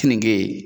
Keninge